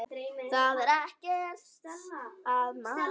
Það er ekkert að maður.